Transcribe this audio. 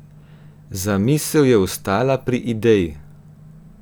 Zamisel je ostala pri ideji.